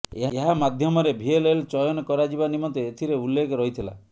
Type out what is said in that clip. ଏହା ମାଧ୍ୟମରେ ଭିଏଲଏଲ ଚୟନ କରାଯିବା ନିମନ୍ତେ ଏଥିଲେ ଉଲ୍ଲେଖ ରହିଥିଲା